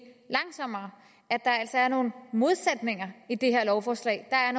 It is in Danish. langsommere at der altså er nogle modsætninger i det her lovforslag der er